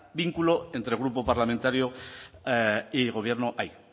vínculo entre grupo parlamentario y gobierno hay